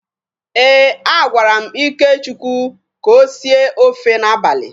Eh, a gwara m Ikechukwu ka o sie ófé n'abalị.